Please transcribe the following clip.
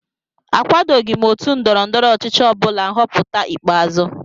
Akwadoghị m otu ndọrọ ndọrọ ọchịchị ọbụla nhọpụta ikpeazụ